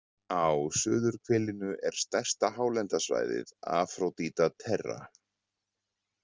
Á suðurhvelinu er stærsta hálendissvæðið Afródíta Terra.